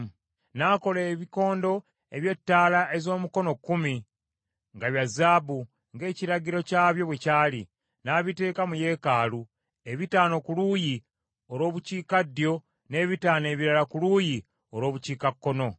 N’akola ebikondo eby’ettaala ez’omukono kkumi nga bya zaabu, ng’ekiragiro kyabyo bwe kyali, n’abiteeka mu yeekaalu, ebitaano ku luuyi olw’obukiikaddyo, n’ebitaano ebirala ku luuyi olw’obukiikakkono.